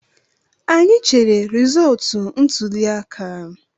Anyị chere resọọtu ntụliaka